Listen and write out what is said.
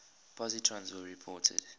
positrons were reported